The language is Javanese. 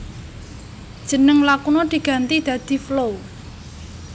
Jeneng Lakuna diganti dadi Flow